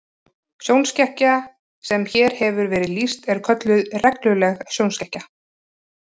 Sjónskekkja sem hér hefur verið lýst er kölluð regluleg sjónskekkja.